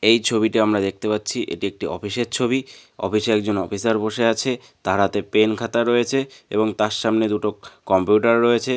এই ছবিতে আমরা দেখতে পাচ্ছি এটি একটি অফিসের ছবি অফিসে একজন অফিসার বসে আছে তার হাতে পেন খাতা রয়েছে এবং তার সামনে দুটো ক-কম্পিউটার রয়েছে।